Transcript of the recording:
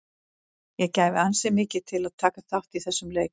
Ég gæfi ansi mikið til að taka þátt í þessum leik.